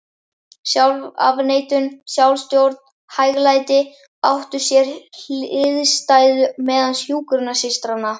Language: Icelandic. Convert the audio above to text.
sjálfsafneitun, sjálfsstjórn og hæglæti, áttu sér hliðstæðu meðal hjúkrunarsystranna.